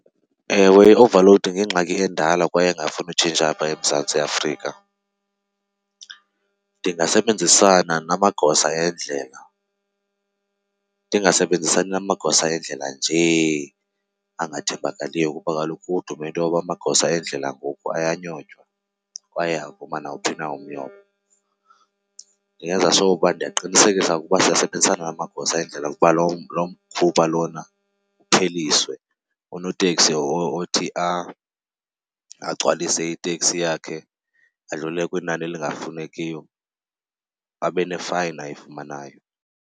Ewe i-overload yingxaki endala kwaye engafuni utshintsha apha eMzantsi Afrika. Ndingasebenzisana namagosa endlela, ndingasebenzisani namagosa endlela njee angathembakaliyo kuba kaloku kudume into yoba amagosa endlela ngoku ayanyotywa kwaye avuma nawuphi na umnyobo. Ndingenza sure ukuba ndiyaqinisekisa ukuba siyasebenzisana namagosa endlela ukuba loo mkhuba lona upheliswe. Unoteksi othi agcwalise iteksi yakhe adlulele kwinani elingafunekiyo abe ne-fine ayifumanayo.